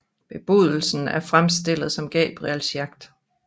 Bebudelsen er fremstillet som Gabriels jagt